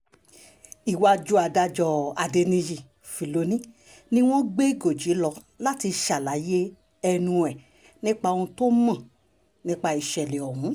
iwájú adájọ́ adẹniyí fílọ́nì ni wọ́n gbé gọ́jí lọ láti ṣàlàyé ẹnu rẹ̀ nípa ohun tó mọ̀ nípa ìṣẹ̀lẹ̀ ọ̀hún